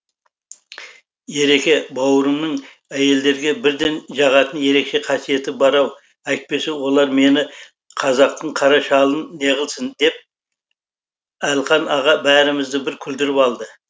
ереке бауырымның әйелдерге бірден жағатын ерекше қасиеті бар ау әйтпесе олар мені қазақтың қара шалын неғылсын деп әлқан аға бәрімізді бір күлдіріп алды